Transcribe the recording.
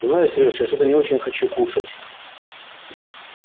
знаешь серёж я что-то не очень хочу кушать